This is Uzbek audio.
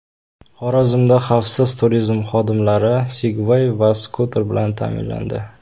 Xorazmda xavfsiz turizm xodimlari Sigway va skuter bilan ta’minlandi.